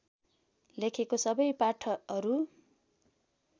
लेखेको सबै पाठहरू